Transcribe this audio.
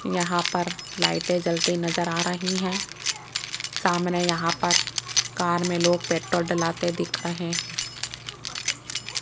यहां पर लाइटें जलती नजर आ रही है सामने यहां पर कार में लोग पेट्रोल डलाते दिख रहे हैं।